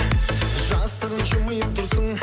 жасырын жымиып тұрсың